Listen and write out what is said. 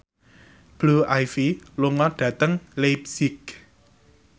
Blue Ivy lunga dhateng leipzig